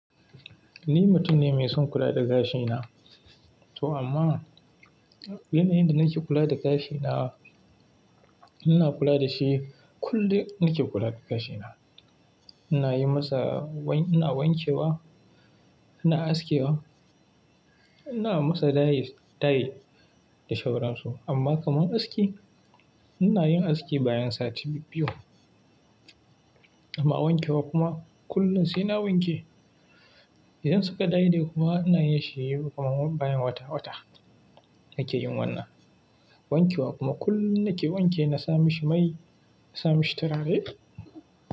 Ni mutum ne mai son kula da gashina. To amma, yanayin da nake kula da gashina, ina kula da shi kullum nake kula da gashina. Ina yi masa wain-- ina wanke wa, ina aske wa, ina masa dye, dye da shauransu. Amma kaman aski, ina yin aski bayan sati biyu. Amma wanke wa kuma kullum sai na wanke. Idan suka dye kuma ina yi shi kuma bayan wata-wata nake yin wannan. Wanke wa kuma kullum nake wanke na sami shi mai, na sami shi turarai.